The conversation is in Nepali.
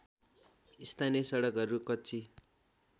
स्थानीय सडकहरू कच्ची